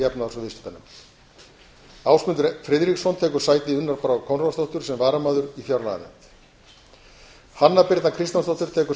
efnahags og viðskiptanefnd ásmundur friðriksson tekur sæti unnar brár konráðsdóttur sem varamaður í fjárlaganefnd hanna birna kristjánsdóttir tekur